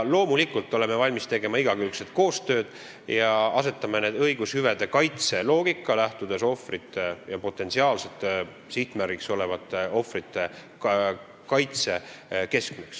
Loomulikult oleme valmis tegema igakülgset koostööd ja asetame õigushüvede kaitse loogika keskmeks, lähtudes potentsiaalsete sihtmärgiks olevate ohvrite kaitsest.